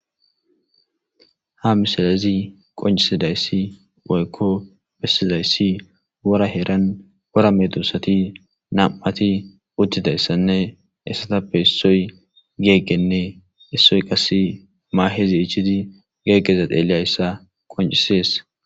Ha misalezi qoncisidayssi woykko pessizayssi wora heran wora medusati nam7ati uttidayssanne essatappe issoy geeggenne issoy qasse maahezi ichiti geeggezadeeleyayssa qoncisees.